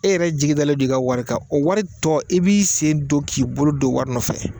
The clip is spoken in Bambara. E yɛrɛ jigi dalen do i ka wari kan o wari tɔ i b'i sen do k'i bolo d'o wɔri nɔfɛ